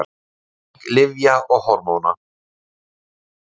Fjarlæging lyfja og hormóna.